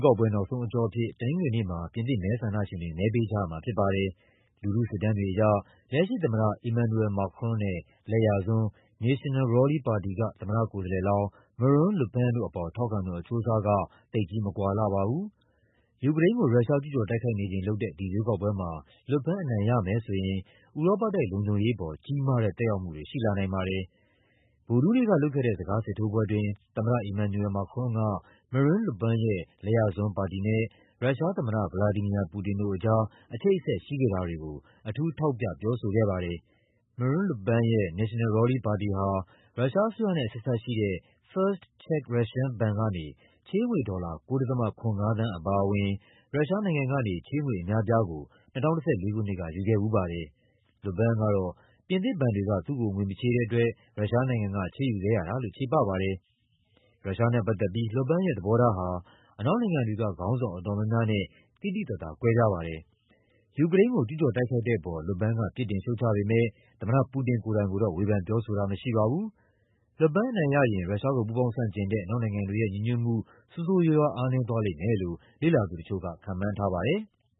ကောက်ပွဲ နောက်ဆုံးအကျော့အဖြစ် တနင်္ဂနွေနေ့မှာ ပြင်သစ်မဲဆန္ဒရှင်တွေ မဲပေးကြရမှာ ဖြစ်ပါတယ်။ လူထုစစ်တမ်းတွေအရ လက်ရှိသမ္မတ Emmanuel Macron နဲ့ လက်ယာစွန်း National Rally ပါတီက သမ္မတကိုယ်စားလှယ်လောင်း Marine Le Pen တို့အပေါ် ထောက်ခံသူ အချိုးအစားက သိပ်ကြီးမကွာလှပါဘူး။ ယူကရိန်းကို ရုရှားကျူးကျော်တိုက်ခိုက်နေချိန် လုပ်တဲ့ ဒီရွေးကောက်ပွဲမှာ Le Pen အနိုင်ရမယ်ဆိုရင် ဥရောပတိုက် လုံခြုံရေးအပေါ် ကြီးမားတဲ့ သက်ရောက်မှုတွေ ရှိလာနိုင်ပါတယ်။ ဗုဒ္ဓဟူးနေ့ကလုပ်ခဲ့တဲ့ စကားစစ်ထိုးပွဲအတွင်း သမ္မတ Emmanuel Macron က Marine Le Pen ရဲ့ လက်ယာစွန်းပါတီနဲ့ ရုရှားသမ္မတ ဗလာဒီမီယာ ပူတင်တို့ကြား အချိတ်အဆက် ရှိခဲ့တာတွေကို အထူးထောက်ပြ ပြောဆိုခဲ့ပါတယ်။ Marine Le Pen ရဲ့ National Rally ပါတီဟာ ရုရှားအစိုးရနဲ့ အဆက်အစပ်ရှိတဲ့ First Czech Russian ဘဏ်ကနေ ချေးငွေဒေါ်လာ ၉ ဒသမ ၇၅ သန်း အပါအဝင် ရုရှားနိုင်ငံကနေ ချေးငွေအများအပြားကို ၂၀၁၄ ခုနှစ်က ယူခဲ့ဖူးပါတယ်။ Le Pen ကတော့ ပြင်သစ်ဘဏ်တွေက သူ့ကို ငွေမချေးတဲ့အတွက် ရုရှားနိုင်ငံက ချေးယူခဲ့ရတာလို့ ချေပပါတယ်။ ရုရှားနဲ့ပတ်သက်ပြီး Le Pen ရဲ့ သဘောထားဟာ အနောက်နိုင်ငံတွေက ခေါင်းဆောင်အတော်များများနဲ့ သိသိသာသာ ကွဲပြားပါတယ်။ ယူကရိန်းကို ကျူးကျော်တိုက်ခိုက်တဲ့အပေါ် Le Pen က ပြစ်တင်ရှုတ်ချပေမယ့် သမ္မတပူတင် ကိုယ်တိုင်ကိုတော့ ဝေဖန်ပြောဆိုတာ မရှိပါဘူး။ Le Pen အနိုင်ရရင် ရုရှားကို ပူးပေါင်းဆန့်ကျင်တဲ့ အနောက်နိုင်ငံတွေရဲ့ ညီညွတ်မှု ဆိုးဆိုးရွားရွား အားနည်းသွားလိမ့်မယ်လို့ လေ့လာသူတချို့က ခန့်မှန်းထားပါတယ်။